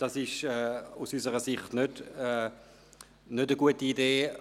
Dies ist aus unserer Sicht keine gute Idee.